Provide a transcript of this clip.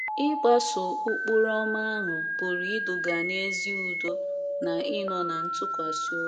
Ịgbaso Ụkpụrụ Ọma ahụ pụrụ iduga n’ezi udo na ịnọ ná ntụkwasị obi